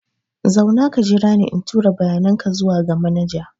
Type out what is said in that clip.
Zauna ka jira ni in tura bayanan ka zuwa ga manaja.